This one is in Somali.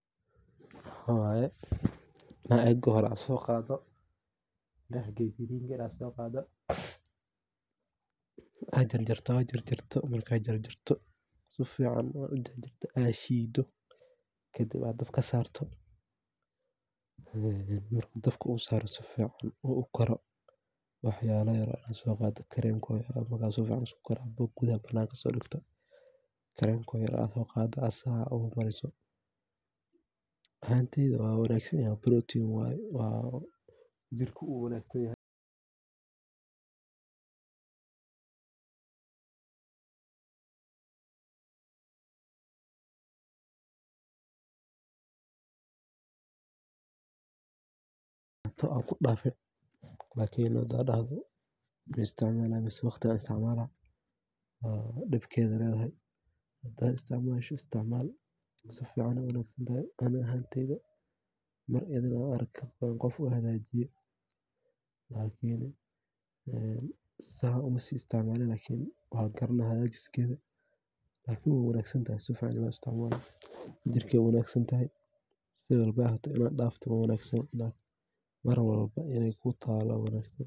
Mxa waye inaad oga hore so qado. Sida loo qaso creamka waxay ku xirnaan kartaa nooca creamka aad doonayso inaad sameyso. Si kastaba ha ahaatee, waxaa jira habab guud oo lagu sameeyo creamka guri ahaan, oo aan u baahanayn qalab gaar ah. Mid ka mid ah hababka ugu fudud ee lagu sameeyo creamka waxaa ka mid ah isticmaalka subag ama caano dhanaan oo ku habboon. Tallaabada ugu horreysa waa in la helo caano si fiican u kala-qarsoon ama subag cusub oo aan la isticmaalin muddo dheer, taas oo ka dhigaysa in creamka uu noqdo mid dhadhan fiican leh. Tallaabada xigta waxay tahay in subagga ama caanaha la mariyo nidaam isku-dhaf ah. Waxa lagama maarmaan ah in caanaha ama subagga la ruxo ama la kariyo ilaa ay ka muuqato dhalaal ka muuqda marka la isku daro. Haddii aad rabto inaad ku darto dhadhan dheeraad ah, waxaad isticmaali kartaa malab, sonkor, ama xitaa dhir udgoon sida cinjirka. Marka la isku daro, creamka waxaa la dhigaa saxan ama weel si uu u qaboojiyo. Haddii aad rabto in creamkaaga uu noqdo mid fudud oo hufan, waxaa laga yaabaa inaad isticmaasho farsamooyin gaar ah sida blender ama mishiinka dhaqameed ee miliska oo creamka cagar kadigeso. Jirkey u wanag santahay si walba ha ahate inaad dafto ma wanagsano mar walba iney ku talo aa wanagsan.